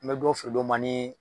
N bɛ dɔw feere dɔ ma ni.